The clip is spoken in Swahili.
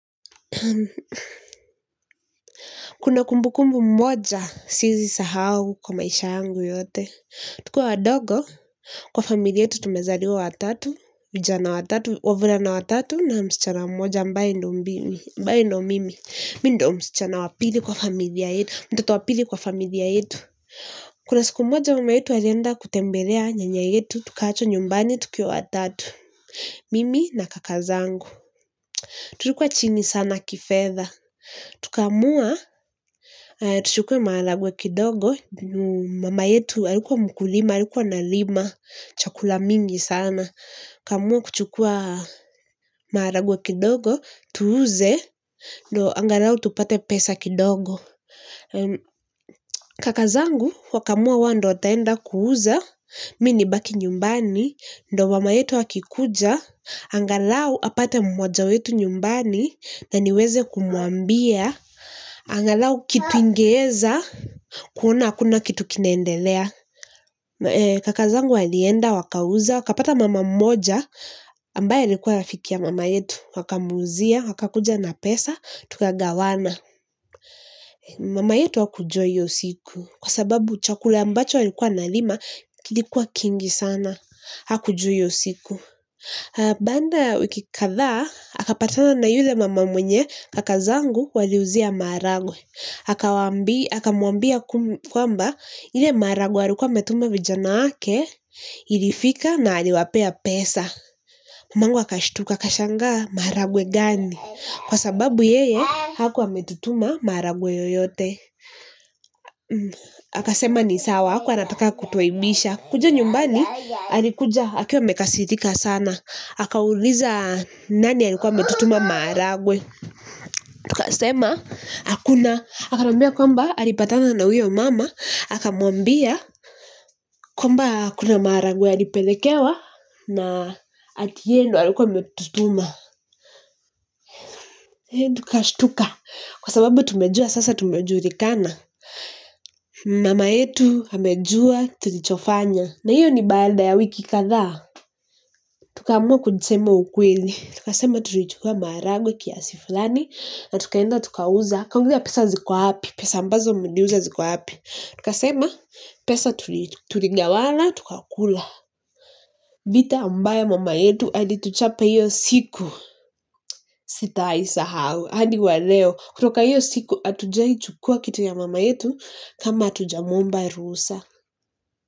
Kuna kumbukumbu mmoja siezi sahau kwa maisha yangu yote. Tukiwa wadogo, kwa familia yetu tumezaliwa watatu, vijana watatu, wavulana watatu na msichana mmoja ambaye ndo mimi, ambaye ndio mimi. Mi ndio msichana wa pili kwa familia yetu, mtoto wa pili kwa familia yetu. Kuna siku moja mama yetu alienda kutembelea nyanya yetu tukaachwa nyumbani tukiwa watatu mimi na kakazangu. Tulikuwa chini sana kifedha. Tukaamua, tuchukue maharagwe kidogo, mama yetu alikuwa mkulima, alikuwa analima, chakula mingi sana. Tukaamua kuchukua maharagwe kidogo tuuze ndio angalau tupate pesa kidogo kaka zangu wakaamua wao ndio wataenda kuuza mi nibaki nyumbani ndio mama yetu akikuja angalau apate mmoja wetu nyumbani na niweze kumuambia angalau kitu ingeeza kuona hakuna kitu kinaendelea kaka zangu walienda wakauza wakapata mama moja ambaye alikuwa rafiki ya mama yetu wakamuuzia, wakakuja na pesa tukagawana. Mama yetu hakujua iyo siku kwa sababu chakula ambacho alikuwa analima kilikuwa kingi sana. Hakujua iyo siku baada ya wiki kadhaa akapatana na yule mama mwenye kaka zangu waliuzia maharagwe akamuambia kwamba ile maharagwe alikuwa ametuma vijana wake. Ilifika na aliwapea pesa mamangu akashtuka akashangaa maharagwe gani kwa sababu yeye hakuwa ametutuma maharagwe yoyote. Akasema ni sawa. Hakuwa anataka kutuaibisha. Kuja nyumbani, alikuja. Akiwa amekasirika sana. Akauliza nani alikuwa ametutuma maharagwe. Akasema, hakuna. Akatuambia kwamba, alipatana na uyo mama. Akamuambia, kwamba kuna maharagwe alipelekewa. Na ati yeye ndio alikuwa ametutuma. Tukashtuka. Kwa sababu tumejua, sasa tumejulikana. Mama yetu amejua tulichofanya. Na hiyo ni baada ya wiki kadhaa. Tukaamua kusema ukweli. Tukasema tulichukua maharagwe kiasi fulani. Na tukaenda tukauza. Akauliza pesa ziko wapi. Pesa ambazo mliuza ziko wapi. Tukasema pesa tuligawana. Tukakula. Vita ambayo mama yetu alituchapa hiyo siku sitaisahau. Hadi wa leo. Kutoka hiyo siku hatujai chukua kitu ya mama yetu kama hatujamuomba ruhusa.